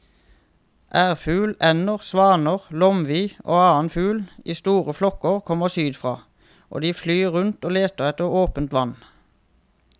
Ærfugl, ender, svaner, lomvi og annen fugl i store flokker kommer sydfra og de flyr rundt og leter etter åpent vann.